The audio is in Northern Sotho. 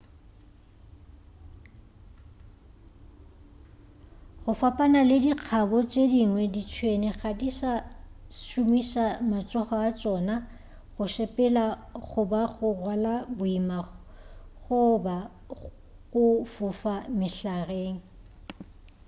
go fapana le dikgabo tše dingwe ditšhwene ga di sa šomiša matsogo a tšona go sepela goba go rwala boima goba go fofa mehlareng